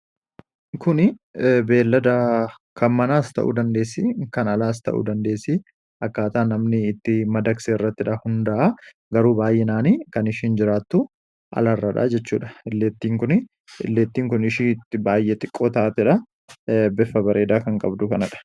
kun beellada kan manaas ta'uu dandeessii kan alaas ta'uu dandeessii akkaataa namni itti madakse irratti dha hundaa'a garuu baay'inaanii kan ishiin jiraattu alarradha jechuudha illeettiin kun ishii itti baay'ee xiqqoo taate dha beffa bareedaa kan qabdu kanadha